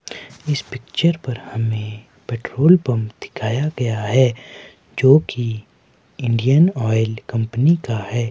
इस पिक्चर पर हमें पेट्रोल पंप दिखाया गया है जोकि इंडियन ऑयल कंपनी का है।